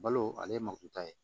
Balo ale ye makita ye